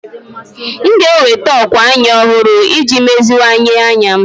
M ga-enweta ókwà anya ọhụrụ iji meziwanye anya m.